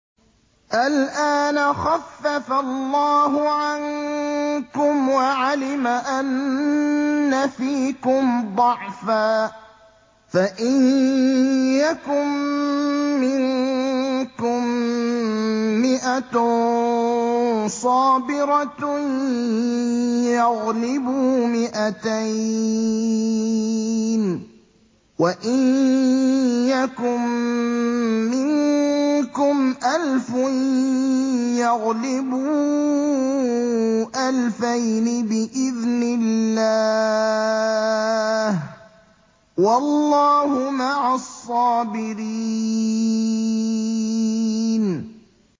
الْآنَ خَفَّفَ اللَّهُ عَنكُمْ وَعَلِمَ أَنَّ فِيكُمْ ضَعْفًا ۚ فَإِن يَكُن مِّنكُم مِّائَةٌ صَابِرَةٌ يَغْلِبُوا مِائَتَيْنِ ۚ وَإِن يَكُن مِّنكُمْ أَلْفٌ يَغْلِبُوا أَلْفَيْنِ بِإِذْنِ اللَّهِ ۗ وَاللَّهُ مَعَ الصَّابِرِينَ